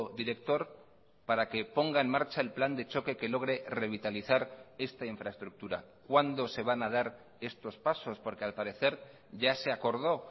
director para que ponga en marcha el plan de choque que logre revitalizar esta infraestructura cuándo se van a dar estos pasos porque al parecer ya se acordó